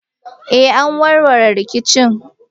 Eh, an warware rikicin.